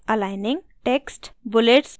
bullets और क्रमांकन numbering